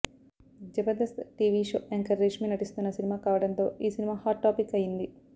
Jabardasth TV show anchor Reshmi నటిస్తున్న సినిమా కావడంతో ఈ సినిమా హాట్ టాపిక్ అయింది